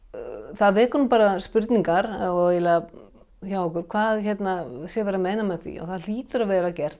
það vekur spurningar hjá okkur hvað sé verið að meina með því það hlýtur að vera gert